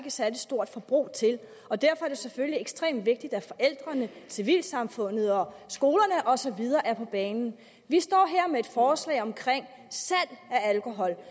et særlig stort forbrug til og derfor er det selvfølgelig ekstremt vigtigt at forældrene civilsamfundet og skolerne og så videre er på banen vi står her med et forslag om salg af alkohol